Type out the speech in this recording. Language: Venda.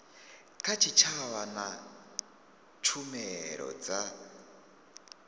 kha tshitshavha na tshumelo dza